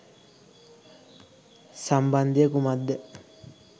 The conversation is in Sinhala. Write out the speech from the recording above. සම්බන්ධය කුමක්ද?